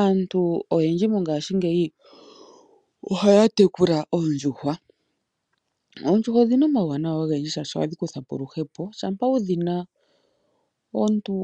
Aantu oyendji mongashingeyi ohaya tekula oondjuhwa. Oondjuhwa odhi na omawuwanawa ogendji shashi ohadhi kutha po oluhepo, shampa wu dhi na omuntu